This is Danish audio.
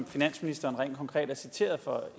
finansministeren rent konkret er citeret for